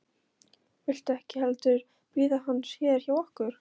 Viltu ekki heldur bíða hans hérna hjá okkur?